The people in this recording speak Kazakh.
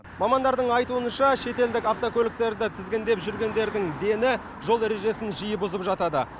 мамандардың айтуынша шетелдік автокөліктерді тізгіндеп жүргендердің дені жол ережесін жиі бұзып жатады